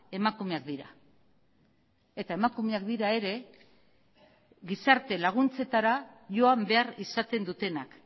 emakumeak dira eta emakumeak dira ere gizarte laguntzetara joan behar izaten dutenak